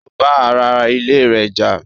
Ó bá ara ilé rẹ̀ jà